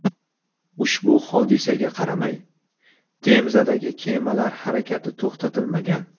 Ushbu hodisaga qaramay, Temzadagi kemalar harakati to‘xtatilmagan.